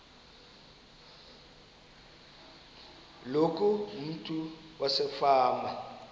loku umntu wasefama